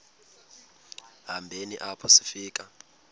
hambeni apho sifika